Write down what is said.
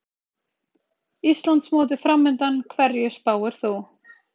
Íslandsmótið framundan, hverju spáir þú?